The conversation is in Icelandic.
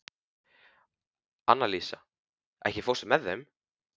Annalísa, ekki fórstu með þeim?